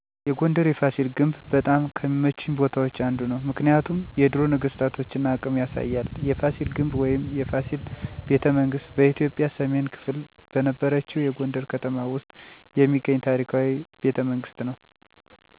የጎንደር የፋሲል ግንብ በጣም ከሚመቹኝ ቦታዎች አንዱ ነው። ምክንያቱም የድሮ ነገስታቶን አቅም ያሳያል። የፋሲል ግንብ ወይም “የፋሲል ቤተመንግስት ” በኢትዮጵያ ሰሜን ክፍል በነበረችው የጎንደር ከተማ ውስጥ የሚገኝ ታሪካዊ ቤተመንግስት ነው። ከ17ኛው ክፍለ ዘመን ጀምሮ እስከ 18ኛው ክፍለ ዘመን የተመሰረተ ነው። ፋሲል ግንብ በ1979 ዓ.ም. ዩነስኮ የዓለም ቅዱስ ቅርስ ቦታ ተብሎ ተመዘገበ። ይህ ከታሪክ፣ ህንፃ እና ባህል አንጻር ለኢትዮጵያ ትልቅ እና ከባድ እሴት ያለው ቦታ ነው።